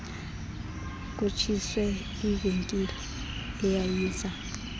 kutshiswe ivenkile eyayiza